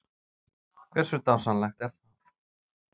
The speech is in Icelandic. Hversu dásamlegt er það?